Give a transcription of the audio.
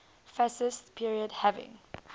fascist period having